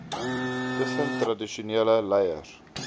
tussen tradisionele leiers